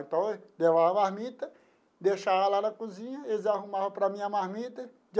Então, eu levava marmita, deixava lá na cozinha, eles arrumavam para mim a marmita.